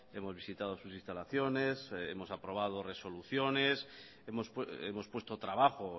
hemos visitado sus instalaciones hemos aprobado resoluciones hemos puesto trabajo